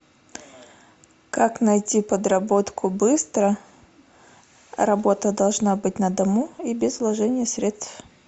как найти подработку быстро работа должна быть на дому и без вложений средств